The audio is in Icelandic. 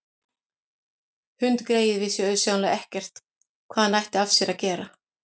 Hundgreyið vissi auðsjáanlega ekkert hvað hann ætti af sér að gera.